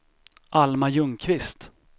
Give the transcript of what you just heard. Alma Ljungqvist